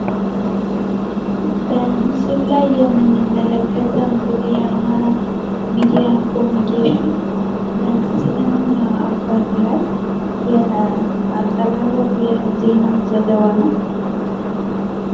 በምስሉ ላይ የምንመለከተው እንግዲህ የአማራ ሚድያ ኮምኒኬሽን በአሲዳማ አፈር ላይ ያቀረበው የዜና ዘገባ ነው።